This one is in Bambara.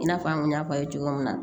I n'a fɔ an kun y'a fɔ a ye cogo min na